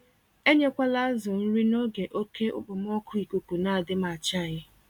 Enyekwala azụ nri n'oge oke okpomọkụ ikuku nadịmachaghị